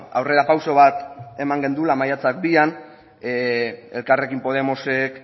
aurrerapauso bat eman genuela maiatzak bian elkarrekin podemosek